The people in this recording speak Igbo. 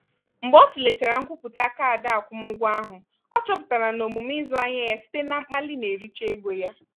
mgbe ọ tụlechara nkwupụta kaadị akwụmụgwọ ahụ ọ chọpụtara na omume ịzụ ahịa ya site na mkpali na-ericha ego ya.